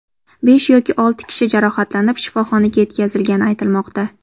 Besh yoki olti kishi jarohatlanib, shifoxonaga yetkazilgani aytilmoqda.